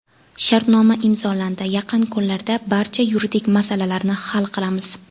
Shartnoma imzolandi, yaqin kunlarda barcha yuridik masalalarni hal qilamiz.